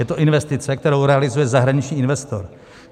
Je to investice, kterou realizuje zahraniční investor.